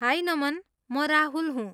High, Naman! म राहुल हुँ।